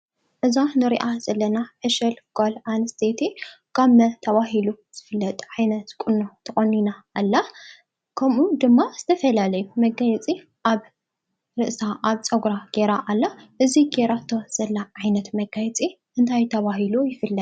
እዛ ንሪኣ ዘለና ዕሸል ጓል ኣንስተይቲ ጋመ ተባሂሉ ዝፍለጥ ዓይነት ቁኖ ተቆኒና ኣላ። ከምኡ ድማ ዝተፈላዩ መጋየፂ ኣብ ርእሳ፣ ኣብ ፀጉራ ገይራ ኣላ ።እዚ ገይራቶ ዘላ ዓይነት መጋየፂ እንታይ ተባሂሉ ይፍለጥ?